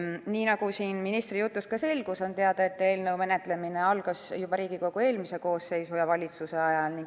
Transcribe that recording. Nii nagu siin ministri jutust selgus, on teada, et eelnõu menetlemine algas juba eelmise Riigikogu koosseisu ja valitsuse ajal.